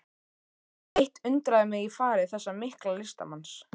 Eitt undraði mig í fari þessa mikla listamanns.